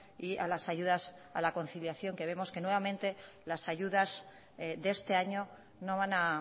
y a las ayudas a la conciliación que vemos que nuevamente las ayudas de este año no van a